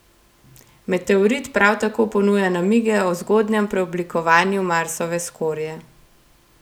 Meteorit prav tako ponuja namige o zgodnjem preoblikovanju Marsove skorje.